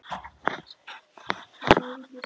Meira að segja eggjabakkarnir voru horfnir.